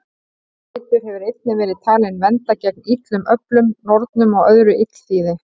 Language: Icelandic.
Þessi litur hefur einnig verið talinn vernda gegn illum öflum, nornum og öðru illþýði.